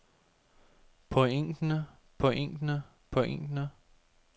pointene pointene pointene